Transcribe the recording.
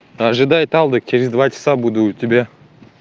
ожидай талдык через два часа буду у тебя